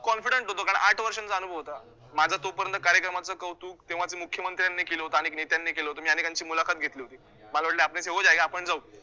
confident होतो, कारण आठ वर्षांचा अनुभव होता. माझं तोपर्यंत कार्यक्रमाचं कौतुक तेव्हाच्या मुख्यमंत्र्यांनी केलं होतं, अनेक नेत्यांनी केलं होतं, मी अनेकांची मुलाखत घेतली होती, मला वाटलं आपण जाऊ